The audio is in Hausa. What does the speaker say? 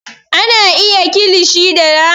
A na iya yin kilishi da naman rago